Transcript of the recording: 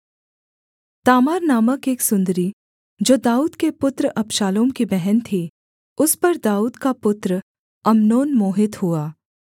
Tamar नामक एक सुन्दरी जो दाऊद के पुत्र अबशालोम की बहन थी उस पर दाऊद का पुत्र अम्नोन मोहित हुआ